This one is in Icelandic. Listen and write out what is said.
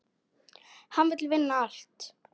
Hann vill vinna allt.